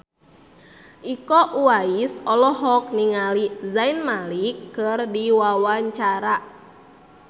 Iko Uwais olohok ningali Zayn Malik keur diwawancara